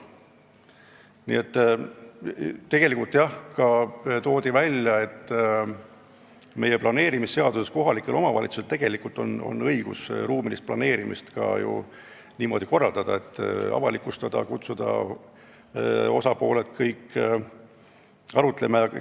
Räägiti ka sellest, et meie planeerimisseaduse järgi on kohalikel omavalitsustel õigus ruumilist planeerimist niimoodi avalikult korraldada, et kõik osapooled kutsutakse arutlema.